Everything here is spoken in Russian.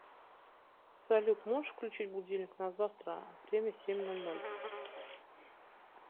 салют можешь включить будильник на завтра время семь ноль ноль